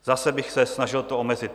Zase bych se snažil to omezit.